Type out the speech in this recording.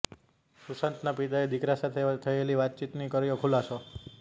સુશાંતના પિતાએ દીકરા સાથે થયેલી વાતચીતનો કર્યો ખુલાસો